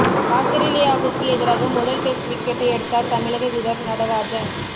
ஆஸ்திரேலியாவுக்கு எதிராக முதல் டெஸ்ட் விக்கெட்டை எடுத்தார் தமிழக வீரர் நடராஜன்